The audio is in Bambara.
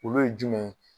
Olu ye jumɛn ye